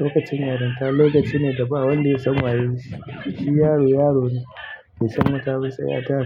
Lokacin yaranta lokaci ne da ba wanda ya san wayonshi yayi shi yaro, yaro ne bai san mata ba sai ya taka.